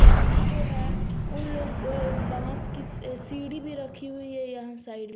यहां जो है उन लोग अह बांस की सीढ़ी भी रखी हुई है यहां साइड में।